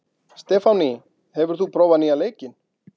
Stefánný, hefur þú prófað nýja leikinn?